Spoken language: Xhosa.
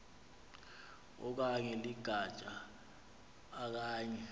okanye ligatya okanye